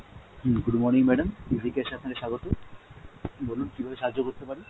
হম good morning madam, আপনাকে স্বাগত, বলুন কিভাবে আপনাকে সাহায্য করতে পারি?